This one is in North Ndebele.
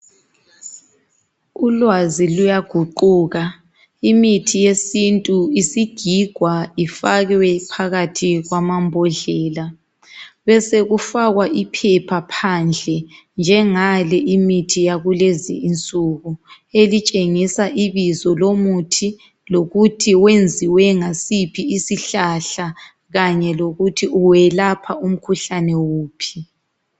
Ulwazi luyaguquka, imithi yesintu isigigwa ifakwe phakathi kwamambodlela besekufakwa iphepha phandle njengale imithi yakulezi insuku, elitshengisa ibizo lomuthi lokuthi wenziwe ngasiphi isihlahla kanye lokuthi welapha umkhuhlane wuphi.